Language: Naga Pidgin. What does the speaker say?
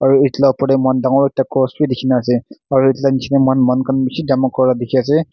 etu la opor de moikhan dangor ekta cross b dikhi na ase aro etu la nichey de moikhan manu khan bishi jama kuria dikhi ase.